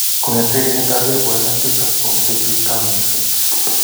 Kongete kenyit ap 2007 komenye bik taonishek